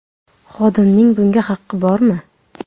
Xodimning bunga haqqi bormi?